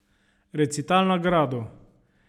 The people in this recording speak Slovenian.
Recital na gradu.